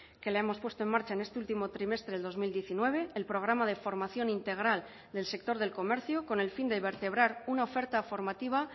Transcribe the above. que la hemos puesto en marcha en este último trimestre del dos mil diecinueve el programa de formación integral del sector del comercio con el fin de vertebrar una oferta formativa